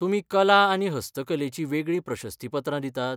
तुमी कला आनी हस्तकलेचीं वेगळीं प्रशस्तीपत्रां दितात?